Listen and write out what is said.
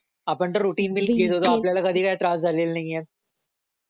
आपण तर routine wheels घेत होतो आपल्याला काही त्रास नाही झालेला आहे